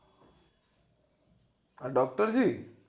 આ doctor જી